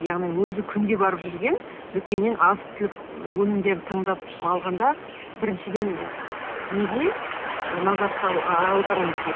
яғни өзі күнде барып жүрген дүкеннен азық түлік өнімдерін таңдап алғанда біріншіден ы неге ы назар аударуымыз